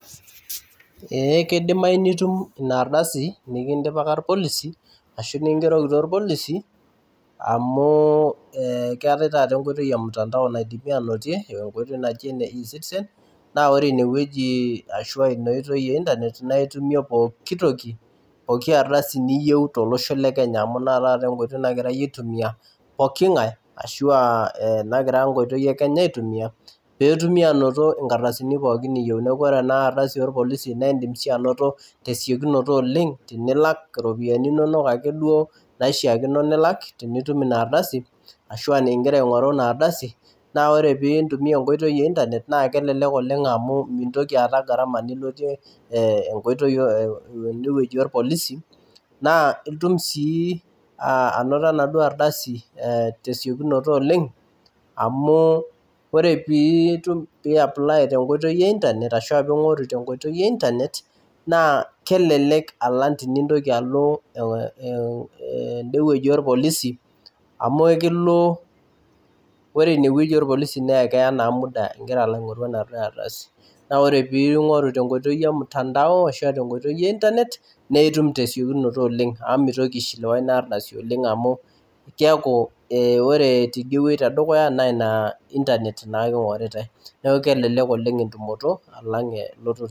Eh kidimai nitum ina ardasi nikindipaka irpolisi ashu nikingerokito irpolisi amu keetae taata enkoitoi emtandao naidimi anotie enkoitoi naji ene e citizen naa ore inewueji ashua ina oitoi e internet naitumie pokitoki poki ardasi niyieu tolosho le kenya amu ina taata enkoitoi nagirae aitumia poking'ae ashua nagira enkoitoi e kenya aitumia petumi anoto nkardasini pookin niyieu neku ore ena ardasi orpolisi naindim sii anoto tesiokinoto oleng tinilak iropiani inonok akeduo naishiakino nilak tinitum ina ardasi ashua ningira aing'oru ina ardasi naa ore pii pintumia enkoitoi e internet naa kelelek oleng amu mintoki aata gharama nilotie eh enkoitoi e enewueji orpolisi naa itum sii uh anoto enaduo ardasi eh tesiokinoto oleng amu ore pii piitum pi apply tenkoitoi e internet ashua ping'oru tenkoitoi e internet naa kelelek alang tenintoki alo uh e ende wueji orpolisi amu ekilo wore inewueji orpolisi naa ekeya naa muda ingira alo aing'oru ena ardasi naa ore ping'oru tenkoitoi e mtandao ashua tenkoitoi e internet neitum tesiokinoto oleng amu mitoki aishiliwa ina ardasi oleng amu kiaku eh ore tidie wueji tedukuya naina internet naake ing'oritae neku kelelek oleng entumoto alang eh.